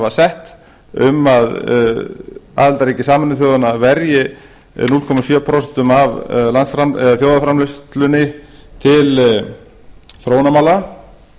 sett um að aðildarríki sameinuðu þjóðanna verji núll komma sjö prósent af þjóðarframleiðslunni til þróunarmála